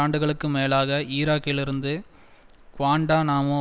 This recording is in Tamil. ஆண்டுகளுக்கு மேலாக ஈராக்கிலிருந்து குவாண்டநாமோ